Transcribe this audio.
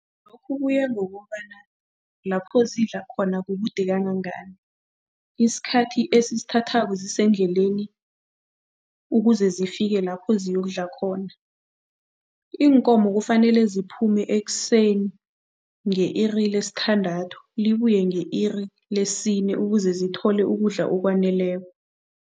Lokhu kuya ngokobana lapho zidla khona kukude kangangani, isikhathi esisithathako zisendleleni ukuze zifike lapho ziyokudla khona. Iinkomo kufanele ziphume ekuseni nge-iri lesithandathu, libuye nge-iri lesine ukuze zithole ukudla okwaneleko.